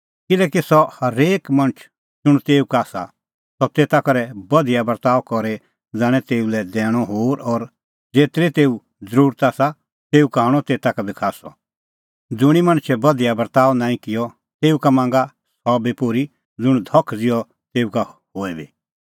किल्हैकि सह हेरेक मणछ ज़ुंण तेऊ का आसा सह तेता करै बधिया बर्ताअ करी ज़ाणें तेऊ लै दैणअ होर और ज़ेतरी तेऊ ज़रुरत आसा तेऊ का हणअ तेता का खास्सअ ज़ुंणी मणछै बधिया बर्ताअ नांईं किअ तेऊ का मांगणअ सह बी पोर्ही ज़ुंण धख ज़िहअ तेऊ का होए बी